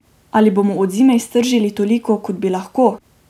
Ali bomo od zime iztržili toliko, kot bi lahko?